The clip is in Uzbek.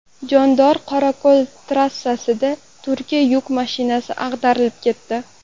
Jondor-Qorako‘l trassasida Turkiya yuk mashinasi ag‘darilib ketdi .